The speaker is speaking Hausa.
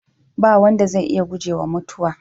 Ba wanda zai iya gujewa mutuwa.